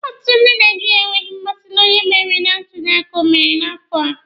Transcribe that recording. Ọtụtụ ndị Naijiria enweghị mmasị na onye meriri na ntuli aka emere n'afọ a.